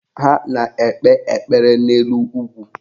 Ha na-ekpe ekpere n'elu ugwu